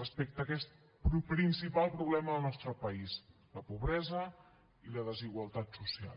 respecte a aquest principal problema al nostre país la pobresa i la desigualtat social